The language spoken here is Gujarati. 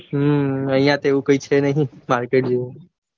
હમ આઇયા તો એવું છે નઈ કાંઈ market જેવું.